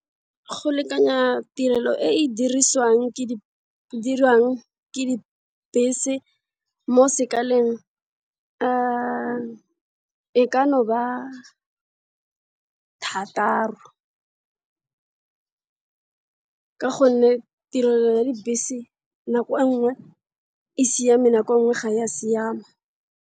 Go lekanya tirelo e e dirwang ke dibese mo sekaleng e ka thataro ka gonne tirelo ya dibese nako e nngwe e siame nako e nngwe ga ya siama.